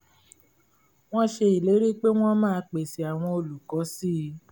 wọ́n ṣe ìlérí pé wọ́n máa pèsè àwọn olùkọ́ si